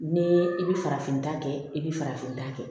Ni i bi farafinta kɛ i bi farafinta kɛ